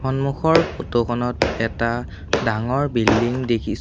সম্মুখৰ photo খনত এটা ডাঙৰ বিল্ডিং দেখিছ--